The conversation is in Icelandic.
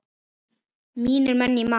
Mínir menn í Man.